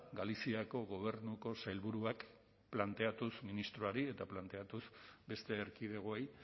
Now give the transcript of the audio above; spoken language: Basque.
galiziako gobernuko sailburuak planteatuz ministroari eta planteatuz beste erkidegoei